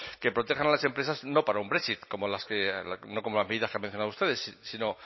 que protejan a las empresas no para un brexit no como las medidas que han mencionado ustedes sino